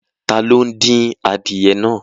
Tá lo din àdíẹ̀ náà?